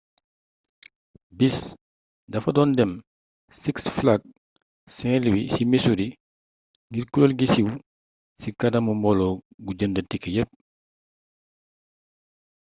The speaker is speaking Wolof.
bis dafa doon dem six flags st louis ci missouri ngir kureel gi suwe ci kanamu mbooloo gu jënd tike yepp